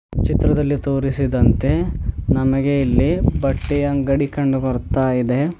ಚಿತ್ರದಲ್ಲಿ ತೋರಿಸಿದಂತೆ ನಮಗೆ ಇಲ್ಲಿ ಬಟ್ಟೆ ಅಂಗಡಿ ಕಂಡು ಬರುತ್ತಾಇದೆ.